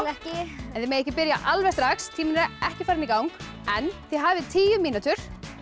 ekki þið megið ekki byrja alveg strax tíminn er ekki farinn í gang en þið hafið tíu mínútur